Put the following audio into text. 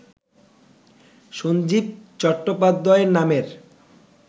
সঞ্জীব চট্টোপাধ্যায় নামের